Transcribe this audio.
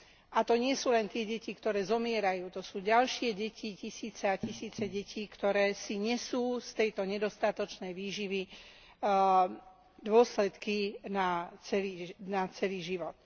A to nie sú len tie deti, ktoré zomierajú, to sú ďalšie deti, tisíce a tisíce detí, ktoré si nesú z tejto nedostatočnej výživy dôsledky na celý život.